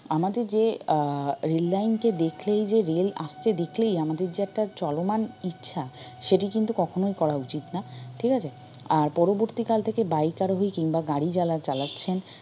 আমাদের যে আহ rail line কে দেখলেই যে rail আসতে দেখলেই আমাদের যে চলমান ইচ্ছা সেটি কিন্তু কখনোই করা উচিত না ঠিক আছে আর পরবর্তি কাল থেকে bike আরোহী কিংবা গাড়ি যারা চালাচ্ছেন